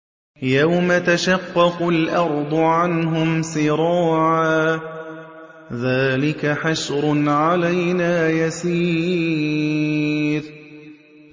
يَوْمَ تَشَقَّقُ الْأَرْضُ عَنْهُمْ سِرَاعًا ۚ ذَٰلِكَ حَشْرٌ عَلَيْنَا يَسِيرٌ